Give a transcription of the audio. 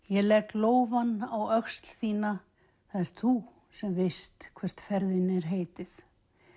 ég legg lófann á öxl þína það ert þú sem veist hvert ferðinni er heitið